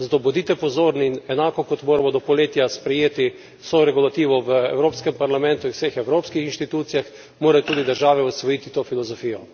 Zato bodite pozorni, enako kot moramo do poletja sprejeti vso regulativo v Evropskem parlamentu in vseh evropskih institucijah, morajo tudi države osvojiti to filozofijo.